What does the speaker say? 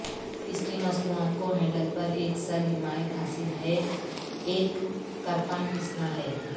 اس کی مصنوعات کو ہینڈل پر ایک سر حمایت حاصل ہے ایک کرپان پیسنا ہے